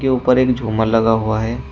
ऊपर एक झूमर लगा हुआ है।